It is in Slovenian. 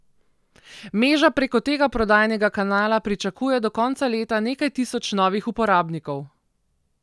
Meža preko tega prodajnega kanala pričakuje do konca leta nekaj tisoč novih uporabnikov.